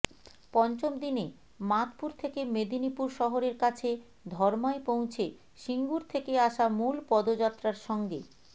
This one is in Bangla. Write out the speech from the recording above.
পঞ্চম দিনে মাদপুর থেকে মেদিনীপুর শহরের কাছে ধর্মায় পৌঁছে সিঙ্গুর থেকে আসা মূল পদযাত্রার সঙ্গে